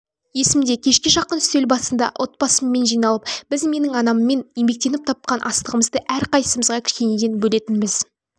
есімде кешке жақын үстел басында отбасымен жиналып біз менің анаммен еңбектеніп тапқан астығымызды әрқайсымызға кішкенеден бөлетінбіз